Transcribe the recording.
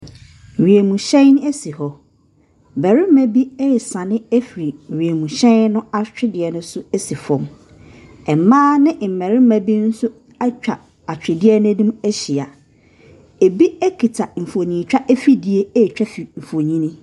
Wiem hyɛn asi hɔ. Barima bi ɛresane afi wiemhyɛn no atwedeɛ no so asi fɔm. Mmaa ne mmarima bi nso atwa atwedeɛ no anim ahyia. Ebi akita mfonyin twa afidie atwa mfonyin.